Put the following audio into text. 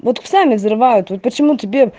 вот сами взрывают вот почему тебе